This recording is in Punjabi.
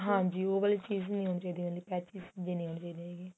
ਹਾਂਜੀ ਉਹ ਵਾਲੀ ਚੀਜ ਨੀ ਹੁੰਦੀ ਇਹਦੇ ਵਾਲੀ patches ਦੀ ਹੁੰਦੀ ਹੈਗੀ